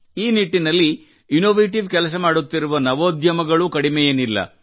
ಈ ನಿಟ್ಟಿನಲ್ಲಿ ಇನ್ನೋವೇಟಿವ್ ಕೆಲಸ ಮಾಡುತ್ತಿರುವ ನವೋದ್ಯಮಗಳು ಕಡಿಮೆಯೇನಿಲ್ಲ